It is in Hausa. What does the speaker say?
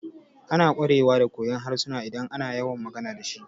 Ana ƙwarewa da koyon harsuna idan ana yawan magana dashi